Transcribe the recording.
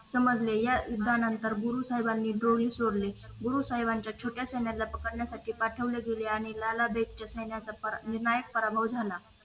समजलं आणि या विज्ञानानंतर गुरु साहेबांनी जोडी सोडले गुरु साहेबांच्या छोट्या सणाला पकडांसाठी पाठवले गेले आणि आणि लाना देशाच्या पराभव झाला